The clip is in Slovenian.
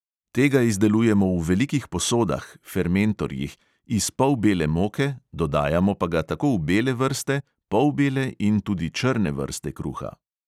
Tega izdelujemo v velikih posodah iz polbele moke, dodajamo pa ga tako v bele vrste, polbele in tudi črne vrste kruha.